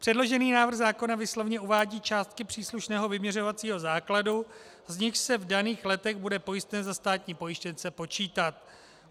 Předložený návrh zákona výslovně uvádí částky příslušného vyměřovacího základu, z nichž se v daných letech bude pojistné za státní pojištěnce počítat.